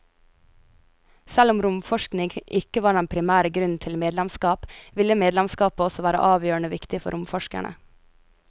Selv om romforskning ikke var den primære grunnen til medlemskap, ville medlemskapet også være avgjørende viktig for romforskerne.